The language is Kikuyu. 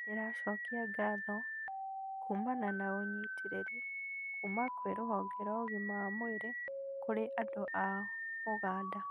Nĩndĩracokia ngatho kumana na ũnyitĩrĩri kuma kwĩ rũhonge rwa ũgima wa mwĩrĩ kũrĩ andũ a ũganda